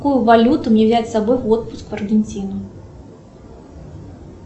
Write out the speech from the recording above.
какую валюту мне взять с собой в отпуск в аргентину